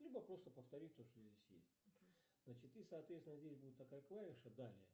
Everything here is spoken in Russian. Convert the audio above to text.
либо просто повторить то что здесь есть значит и соответственно здесь будет такая клавиша далее